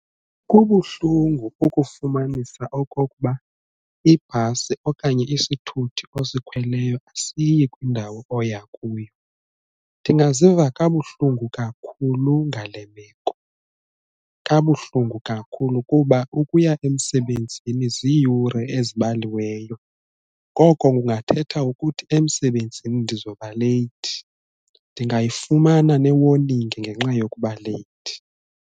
Kubuhlungu ukufumanisa okokuba ibhasi okanye isithuthi osikhweleyo asiyi kwindawo oya kuyo, ndingaziva kabuhlungu kakhulu ngale meko, kabuhlungu kakhulu kuba ukuya emsebenzini ziiyure ezibaliweyo ngoko kungathetha ukuthi emsebenzini ndizoba leyithi ndingayifumana ne-warning ngenxa yokuba leyithi.